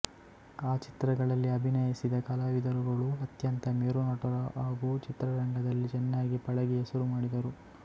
ಆ ಚಿತ್ರಗಳಲ್ಲಿ ಅಭಿನಯಿಸಿದ ಕಲಾವಿದರುಗಳು ಅತ್ಯಂತ ಮೇರು ನಟರು ಹಾಗೂ ಚಿತ್ರರಂಗದಲ್ಲಿ ಚೆನ್ನಾಗಿ ಪಳಗಿ ಹೆಸರು ಮಾಡಿದರು